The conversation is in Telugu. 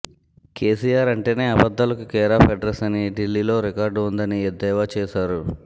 కేసీఆర్ అంటేనే అబద్ధాలకు కేరాఫ్ అడ్రస్ అని ఢిల్లీలో రికార్డు ఉందని ఎద్దేవా చేశారు